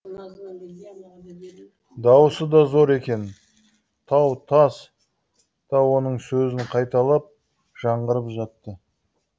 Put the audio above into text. дауысы да зор екен тау тас та оның сөзін қайталап жаңғырып жатты